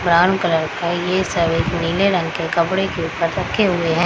Brown colour का है ये सब है जो नीले रंग के कपड़े के ऊपर रखे हुए है।